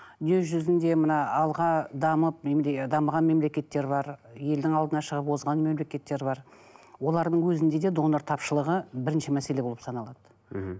дүние жүзінде мына алға дамып дамыған мемлекеттер бар елдің алдына шығып озған мемлекеттер бар олардың өзінде де донор тапшылығы бірінші мәселе болып саналады мхм